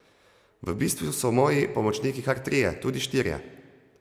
V bistvu so moji pomočniki kar trije, tudi štirje.